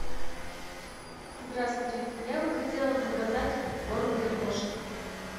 здравствуйте я бы хотела заказать корм для кошек